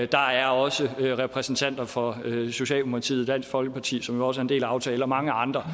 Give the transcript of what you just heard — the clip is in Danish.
der er også repræsentanter for socialdemokratiet og dansk folkeparti som også er en del af aftalen og mange andre